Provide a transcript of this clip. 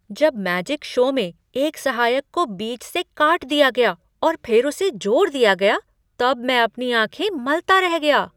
जब magic show में एक सहायक को बीच से काट दिया गया और फिर उसे जोड़ दिया गया तब मैं अपनी आँखें मलता रह गया।